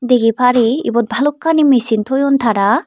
dagay pari ebot balokani misin toyone tara.